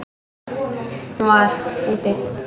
Hún var: úti.